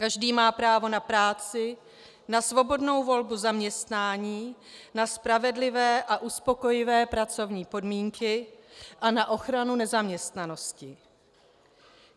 Každý má právo na práci, na svobodnou volbu zaměstnání, na spravedlivé a uspokojivé pracovní podmínky a na ochranu nezaměstnanosti.